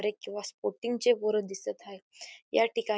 Break किंवा sporting चे पोरं दिसत आहे या ठिकाणी.